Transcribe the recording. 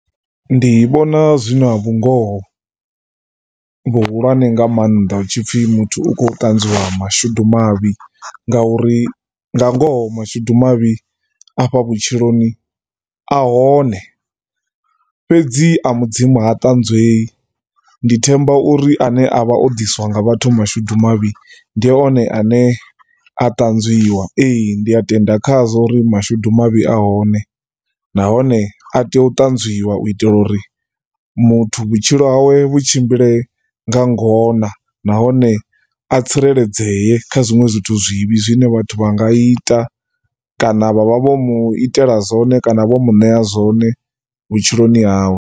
Ndi vhona zwi na vhungoho vhuhulwane nga maanḓa hu tshi pfhi muthu u khou ṱanzwiwa mashudu mavhi, ngauri nga ngoho mashudu mavhi afha vhutshiloni a hone fhedzi a mudzimu ha ṱanzwei. Ndi themba uri a ne a vha o ḓiswa nga vhathu mashudu mavhi ndi one a ne a ṱanzwiwa. Ee, ndi tenda khazwo uri mashudu mavhi a hone, nahone a tea u ṱanzwiwa uri muthu vhutshilo hawe vhu tshimbile nga ngona nahone a tsireledzee kha zwiṅwe zwithu zwivhi zwine vhaṅwe vhathu vha nga ita kana vha vha vho mu itela zwone kana vho mu ṋea zwone vhutshiloni hawe.